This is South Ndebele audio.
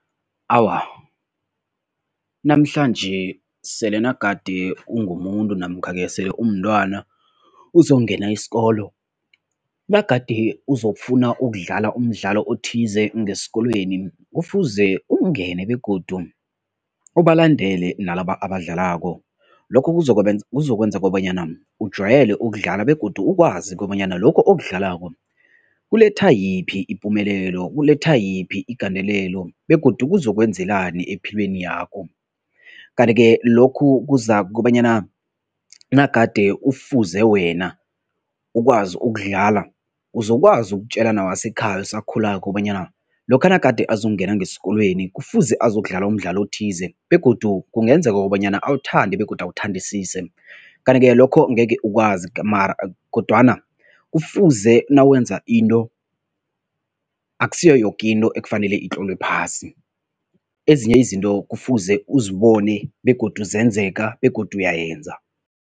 Awa, namhlanje sele nagade ungumuntu namkha-ke sele umntwana uzokungena isikolo, nagade uzokufuna ukudlala umdlalo othize ngesikolweni, kufuze ungene begodu ubalandele nalaba abadlalako lokho kuzokwenza kobanyana ujwayele ukudlala begodu ukwazi kobanyana lokho okudlalako kuletha yiphi ipumelelo, kuletha yiphi igandelelo begodu kuzokwenzekani epilweni yakho. Kanti-ke lokhu kuzakobanyana nagade ufuze wena ukwazi ukudlala, uzokwazi ukutjela newasekhaya osakhulako kobanyana, lokha nagade azokungena ngesikolweni kufuze azokudlala umdlalo othize begodu kungenzeka kobanyana awuthande begodu awuthandisise kanti-ke lokho ngeke ukwazi mara kodwana kufuze nawenza into, akusiyo yoke into ekufanele itlolwe phasi, ezinye izinto kufuze uzibone begodu zenzeka begodu uyayenza.